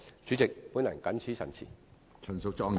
主席，我謹此陳辭。